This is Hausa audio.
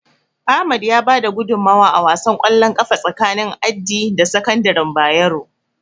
Ahmad ya bada gudunmawa a wasan ƙwallon ƙafa tsakanin Addi da sakandaren Bayero.